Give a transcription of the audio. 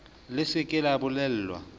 le se ke la bolellwa